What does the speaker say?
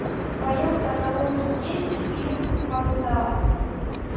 в твоем каталоге есть фильм вокзал